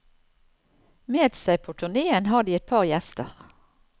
Med seg på turneen har de et par gjester.